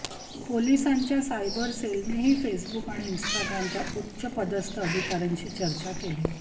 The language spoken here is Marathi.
पोलिसांच्या सायबर सेलनेही फेसबुक आणि इन्स्टाग्रामच्या उच्चपदस्थ अधिकाऱ्यांशी चर्चा केली